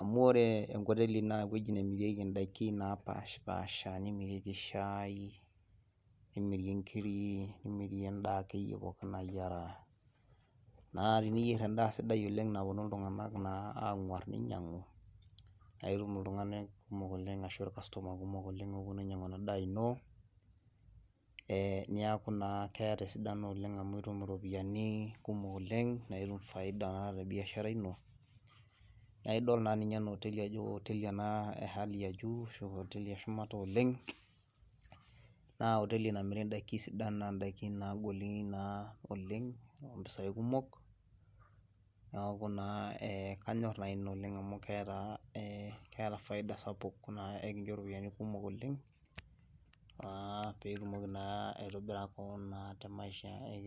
amuu oore enkoteli naa ewueji nemirieki in'daiki napashpaasha nemirieki shaai, nemierieki inkiri, nemiri en'daa akeyie pooki nayiara. Naa teniyier en'daa sidai oleng naponu iltung'anak ang'war neinyiang'u, naitum iltung'anak kumok oleng arashu ircustomer kumok oleng oponu ainyiang'u eena daa iino, niaku naa keeta esidano oleng amuu itum iropiyiani, kumok oleng naa itum faida te biashara iino, naa idol naa nuinye eena hoteli aajo hoteli eena e hali ya juu arashu hoteli ee shumata oleng, naa hoteli namiri in'daikin sidan naa in'daikin naagoli naa oleng ompisai kumok, niaku naa kanyor naa iina oleng amuu keeta[css]faida sapuk naa ekincho iropiyiani kumok oleng pee itumoki naa aitobirari te maisha ino.